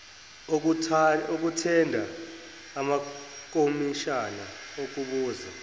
okuthenda amakomishana okubuza